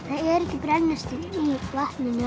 er ekki brennisteinn í vatninu